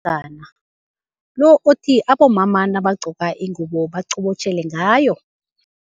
lo othi abomama nabagqoka ingubo baqobotjhele ngayo.